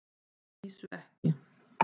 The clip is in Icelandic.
Að vísu ekki.